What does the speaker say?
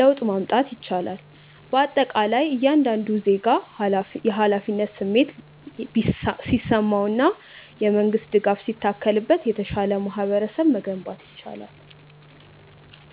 ለውጥ ማምጣት ይቻላል። በአጠቃላይ እያንዳንዱ ዜጋ የኃላፊነት ስሜት ሲሰማውና የመንግስት ድጋፍ ሲታከልበት የተሻለ ማህበረሰብ መገንባት ይቻላል።